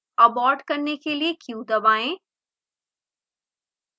abort करने के लिए q दबाएँ